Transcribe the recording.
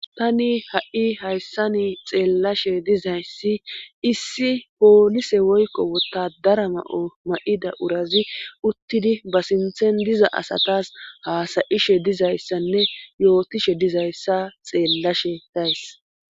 Tani ha7i hayssani xeellashe dizayssi issi poolise woykko wotadara ma7o ma7ida urazi uttidi ba sinthen diza asatas haasayishe dizayssanne yootishe dizayssa xeellashe days.